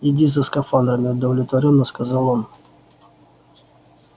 иди за скафандрами удовлетворённо сказал он